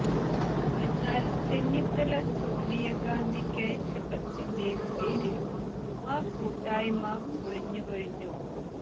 എന്നാൽ ചെന്നിത്തല സോണിയാ ഗാന്ധിക്കയച്ച കത്തിന്റെ പേരിൽ ആ കൂട്ടായ്മ പൊളിഞ്ഞുകഴിഞ്ഞു